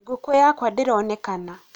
ngũkũ yakwa ndĩronekana